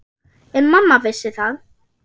En mamma vissi það.